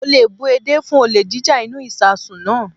Mo le bú edé fún olè jíjá inú ìsasùn náà.